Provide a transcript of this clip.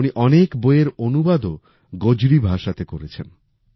উনি অনেক বইয়ের অনুবাদও গোজরি ভাষাতে করেছেন